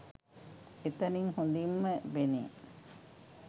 එතැනින් හොඳින්ම පෙනේ.